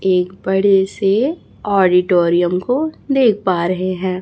एक बड़े से ऑडिटोरियम को देख पा रहे हैं।